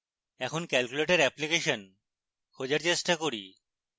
এখন calculator application খোঁজার চেষ্টা করি